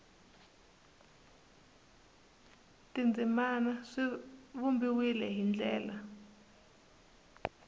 tindzimana swi vumbiwile hi ndlela